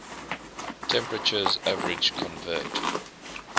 temperatures average convert